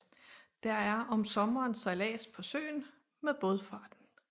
Der er om sommeren sejlads på søen med Baadfarten